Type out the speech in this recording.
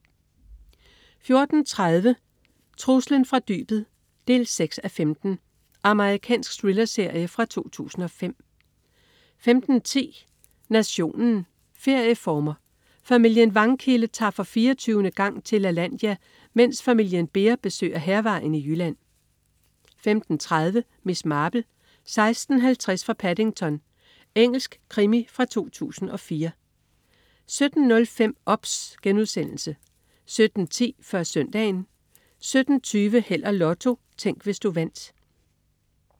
14.30 Truslen fra dybet 6:15. Amerikansk thrillerserie fra 2005 15.10 Nationen: Ferieformer. Familien Vangkilde tager for 24. gang til Lalandia, mens familien Behr besøger Hærvejen i Jylland 15.30 Miss Marple: 16:50 fra Paddington. Engelsk krimi fra 2004 17.05 OBS* 17.10 Før Søndagen 17.20 Held og Lotto. Tænk, hvis du vandt